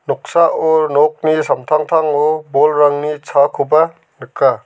noksao nokni samtangtango bolrangni chakoba nika.